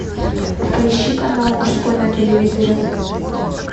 поищи канал мужской на телевизоре